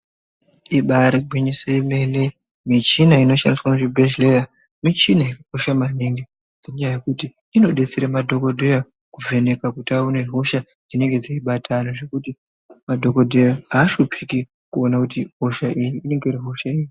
Ibaari ngwinyiso yemene, michina inoshandiswa muzvibhedhleya michina yakakosha maningi, ngenyaya yekuti inodetsere madhokodheya kuvheneka kuti aone hosha dzinenge dzeibata, zvekuti madhokodheya aashuphiki kuona kuti hosha iyi inenge iri hosha iri.